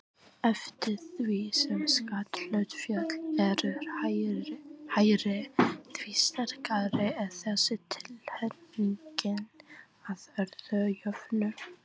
Þetta verður frábær ferð og mun fylgja á eftir ferðinni til Suður Afríku.